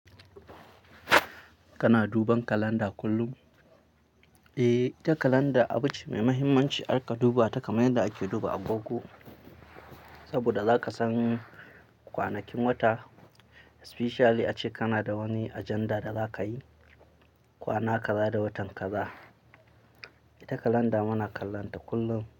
Kana duban kalanda kullum? Eh, ita kalanda abu ce mai mahimmanci, za ka duba ta kamar yadda ake duba agogo. Saboda za ka san kwanakin wata, especially ace kana da wani agenda da za ka yi kwana kaza da watan kaza. Ita kalanda muna kallonta kullum.